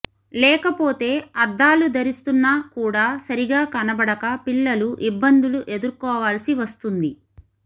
లేకపోతే అద్దాలు ధరిస్తున్నా కూడా సరిగా కనబడక పిల్లలు ఇబ్బందులు ఎదుర్కోవాల్సి వస్తుంది